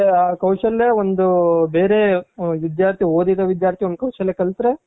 ಆ ಕೌಶಲ್ಯ ಒಂದು ಬೇರೆ ವಿಧ್ಯಾರ್ಥಿ ಓದಿದ ವಿಧ್ಯಾರ್ಥಿ ಕೌಶಲ್ಯ ಕಲ್ತ್ರೆ